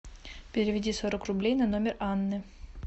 переведи сорок рублей на номер анны